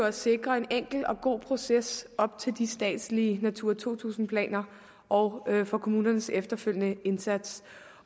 at sikre en enkel og god proces op til de statslige natura to tusind planer og for kommunernes efterfølgende indsats